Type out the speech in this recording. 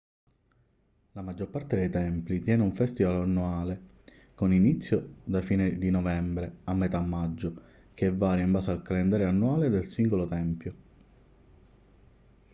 la maggior parte dei templi tiene un festival annuale con inizio da fine di novembre a metà maggio che varia in base al calendario annuale del singolo tempio